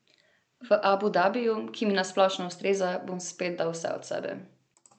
V Abu Dabiju, ki mi na splošno ustreza, bom spet dal vse od sebe.